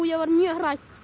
ég varð mjög hrædd